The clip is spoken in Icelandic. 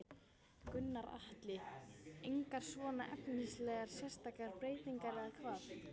Gunnar Atli: Engar svona efnislegar sérstakar breytingar eða hvað?